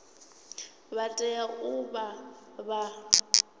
vha tea u vha vha